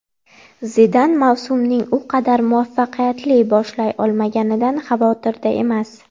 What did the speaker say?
Zidan mavsumning u qadar muvaffaqiyatli boshlay olmaganidan xavotirda emas.